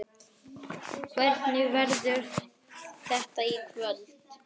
Hvernig verður þetta í kvöld?